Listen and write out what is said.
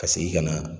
Ka segin ka na